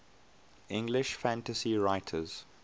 english fantasy writers